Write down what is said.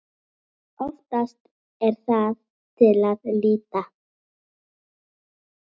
Oftast er það til lýta.